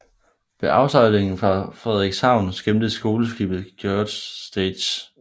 Ved afsejlingen fra Frederikshavn skimtes skoleskibet Georg Stage